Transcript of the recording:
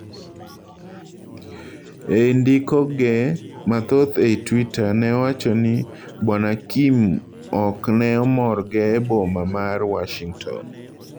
Ei ndiko ge mathoth ei Twitter ne owacho ni Bwana Kim okne omorgo e boma mar Worshington.